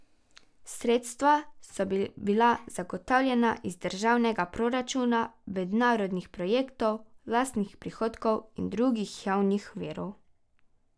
Sredstva so bila zagotovljena iz državnega proračuna, mednarodnih projektov, lastnih prihodkov in drugih javnih virov.